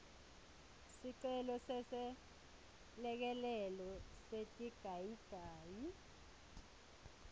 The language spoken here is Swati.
sicelo seselekelelo setigayigayi